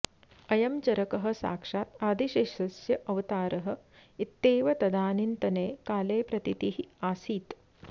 अयं चरकः साक्षात् आदिशेषस्य अवतारः इत्येव तदानीन्तने काले प्रतीतिः आसीत्